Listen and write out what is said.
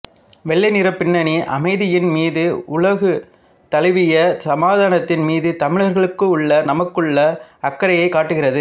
வெள்ளை நிறப் பின்னணி அமைதியின் மீது உலகு தழுவிய சமாதானத்தின் மீது தமிழர்களுக்குள்ள நமக்குள்ள அக்கறையைக் காட்டுகிறது